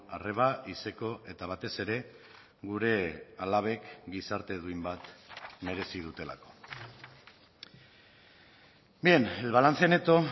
arreba izeko eta batez ere gure alabek gizarte duin bat merezi dutelako bien el balance neto